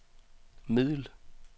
middel